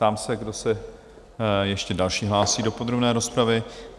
Ptám se, kdo se ještě další hlásí do podrobné rozpravy?